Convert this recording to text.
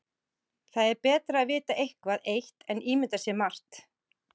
Það er betra að vita eitthvað eitt en ímynda sér margt.